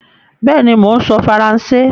Bẹ́ẹ̀ni, mò ń sọ Faransé